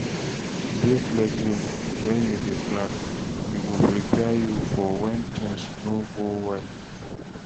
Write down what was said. Dey flexible when you dey plan, e go prepare you for when things no work well